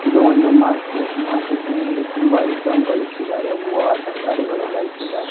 ಇದು ಒಂದು ಮಾರ್ಕೆಟ್ ಮಾರ್ಕೆಟ್ಟಿನಲ್ಲಿ ತುಂಬಾ ಐಟಮ್ಗಳು ಇಕ್ಕಿದಾರೆ ಹೂವ ತರಕಾರಿಗಳೆಲ್ಲ ಇಕಿದಾರೆ --